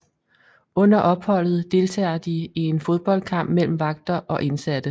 Under opholdet deltager de i en fodboldkamp mellem vagter og indsatte